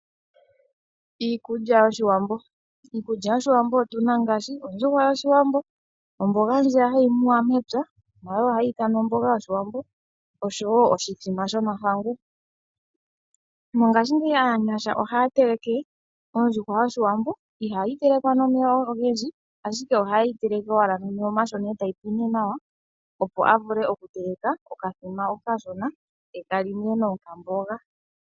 Iikulya yOshiwambo Iikulya yOshiwambo otu na ngaashi ondjuhwa yOshiwambo, omboga ndjiya hayi muwa mepya, nayo ohayi ithanwa omboga yOshiwambo, oshowo oshithima shomahangu. Mongashingeyi aanyasha ohaya teleke ondjukwa yOshiwambo, ihaye yi teleke nomeya ogendji, ashike ohaye yi teleke owala nomeya omashona e tayi pwine nawa, a vule okutelaka okathima okashona ye ta li nee nokamboga.